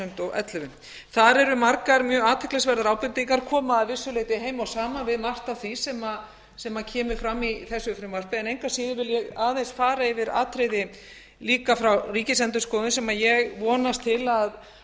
ellefu þar eru margar mjög athyglisverðar ábendingar koma að vissu leyti heima og saman við margt af því sem kemur fram í þessu frumvarpi en engu að síður vil ég aðeins fara yfir atriði líka frá ríkisendurskoðun sem ég vonast til